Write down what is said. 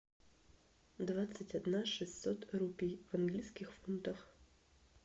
двадцать одна шестьсот рупий в английских фунтах